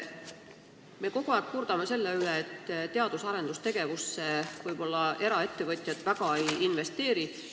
Me kurdame kogu aeg selle üle, et eraettevõtjad teadus- ja arendustegevusse väga ei investeeri.